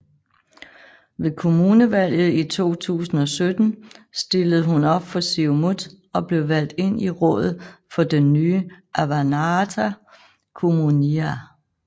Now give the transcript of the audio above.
Ved kommunalvalget i 2017 stillede hun op for Siumut og blev valgt ind i rådet for den nye Avannaata Kommunia